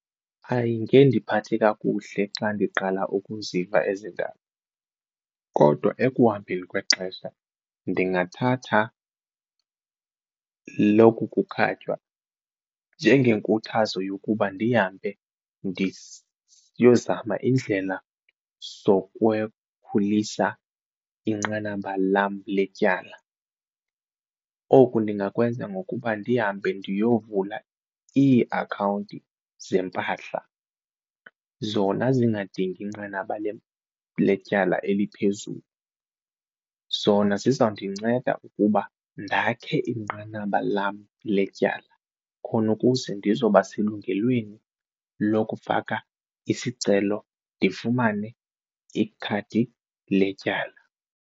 Ayingendiphathi kakuhle xa ndiqala ukuziva ezi ndaba, kodwa ekuhambeni kwexesha ndingathatha loku kukhatywa njengenkuthazo yokuba ndihambe ndiyozama iindlela zokwekhulisa inqanaba lam letyala. Oku ndingakwenza ngokuba ndihambe ndiyovula iiakhawunti zempahla zona zingadingi nqanaba letyala eliphezulu. Zona zizawundinceda ukuba ndakhe inqanaba lam letyala khona ukuze ndizoba selungelweni lokufaka isicelo ndifumane ikhadi letyala.